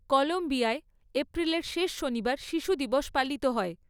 কলম্বিয়ায়, এপ্রিলের শেষ শনিবার শিশু দিবস পালিত হয়।